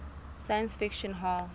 science fiction hall